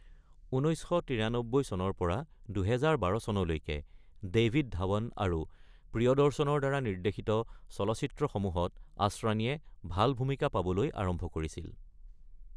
১৯৯৩ চনৰ পৰা ২০১২ চনলৈকে ডেভিড ধাৱন আৰু প্ৰিয়দৰ্শণৰ দ্বাৰা নিৰ্দ্দেশিত চলচ্চিত্ৰসমূহত আসৰানীয়ে ভাল ভূমিকা পাবলৈ আৰম্ভ কৰিছিল।